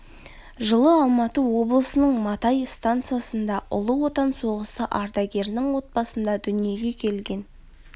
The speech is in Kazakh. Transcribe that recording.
жылы алматы облысының матай стансасында ұлы отан соғысы ардагерінің отбасында дүниеге келген